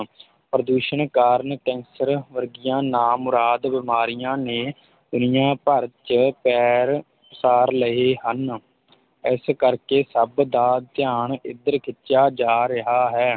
ਪ੍ਰਦੂਸ਼ਣ ਕਾਰਨ ਕੈਂਸਰ ਵਰਗੀਆਂ ਨਾ ਮੁਰਾਦ ਬਿਮਾਰੀਆਂ ਨੇ ਦੁਨੀਆ ਭਰ ‘ਚ ਪੈਰ ਪਸਾਰ ਲਏ ਹਨ ਇਸ ਕਰ ਕੇ ਸਭ ਦਾ ਧਿਆਨ ਇੱਧਰ ਖਿਚਿਆ ਜਾ ਰਿਹਾ ਹੈ